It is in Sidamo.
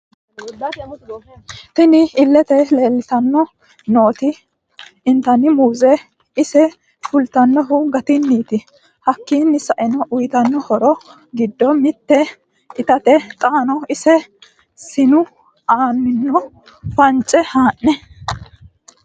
Tinni illete leelitanni nooti intani muuzeti ise fulitanohu gatiniti hakiino sa'eena uyitano horro giddo mitte itatte xaano ise sinu aaninni fance haane...